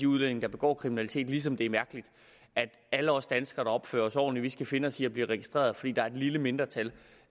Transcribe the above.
udlændinge der begår kriminalitet ligesom det er mærkeligt at alle os danskere der opfører os ordentligt skal finde os i at blive registreret fordi der er et lille mindretal